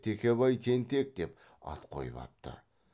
текебай тентек деп ат қойып апты